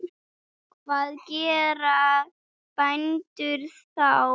Hvað gera bændur þá?